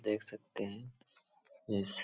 देख सकते हैं। यस --